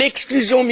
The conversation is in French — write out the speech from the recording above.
L'exclusion